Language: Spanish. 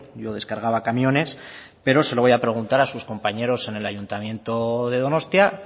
yo descargaba camiones pero se lo voy a preguntar a sus compañeros en el ayuntamiento de donostia